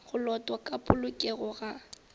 go lotwa ka polokego ga